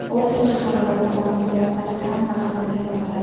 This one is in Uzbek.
O‘rtacha haroratda mahsulotlar ta’m va hidini yo‘qotadi.